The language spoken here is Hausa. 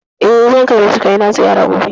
Eh, zan kai ma surukai na ziyara gobe